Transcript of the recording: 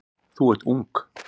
Þú ert ung.